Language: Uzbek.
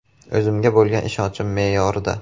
O‘zimga bo‘lgan ishonchim me’yorida.